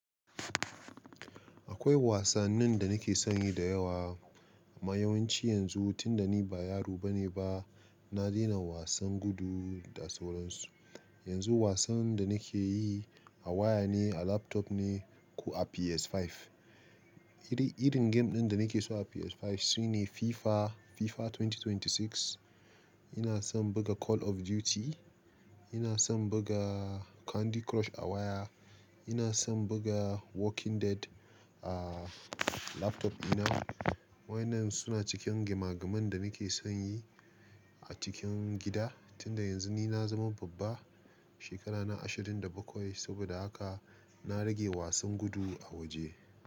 Akwai wasannin da nake son yi da yawa, kuma yawanci yanzu tun da ni ba yaro bane ba, na daina wasan gudu da sauran su. Yanzu wasan da nake yi a waya ne, a laptop ne ko a PS5. Iri, irin game ɗin da nake so a PS5 su ne FIFA, FIFA 2026. Ina son buga Call of Duty, ina son buga Candy Crush a waya, ina son buga Walking Dead a laptop dina. Waƴannan suna cikin gema geman da nake son yi a cikin gida tun da yanzu ni na zama babba, shekarana ashirin da bakwai saboda haka na rage wasan gudu a waje.